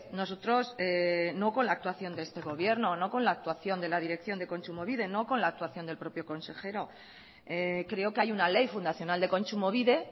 nosotros no con la actuación de este gobierno no con la actuación de la dirección de kontsumobide no con la actuación del propio consejero creo que hay una ley fundacional de kontsumobide